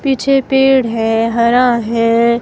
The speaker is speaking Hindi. पीछे पेड़ है हरा है.